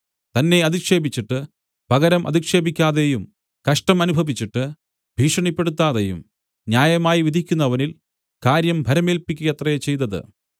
തന്നെ അധിക്ഷേപിച്ചിട്ട് പകരം അധിക്ഷേപിക്കാതെയും കഷ്ടം അനുഭവിച്ചിട്ട് ഭീഷണിപ്പെടുത്താതെയും ന്യായമായി വിധിക്കുന്നവനിൽ കാര്യം ഭരമേല്പിക്കയത്രേ ചെയ്തത്